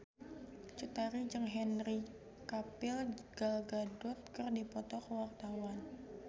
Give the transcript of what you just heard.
Cut Tari jeung Henry Cavill Gal Gadot keur dipoto ku wartawan